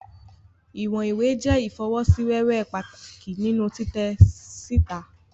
Iwọn iwe jẹ ifosiwewe pataki ninu titẹ sita